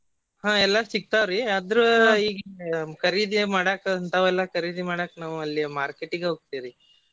ಹ್ಮ್ ಎಲ್ಲಾ ಸಿಗ್ತಾವ್ರಿ ಆದ್ರ ಈಗ ಕರೀದಿ ಮಾಡಾಕ ಇಂತಾವೆಲ್ಲಾ ಕರೀದಿ ಮಾಡಾಕ್ ನಾವ್ ಅಲ್ಲಿ market ಗೆ ಹೊಗ್ತೇವ್ರಿ.